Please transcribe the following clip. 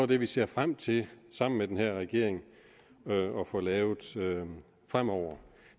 det vi ser frem til sammen med denne regering at få lavet fremover